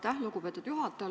Aitäh, lugupeetud juhataja!